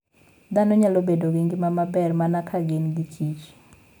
Dhano nyalo bedo gi ngima maber mana ka gin giKich